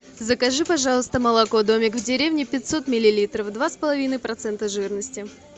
закажи пожалуйста молоко домик в деревне пятьсот миллилитров два с половиной процента жирности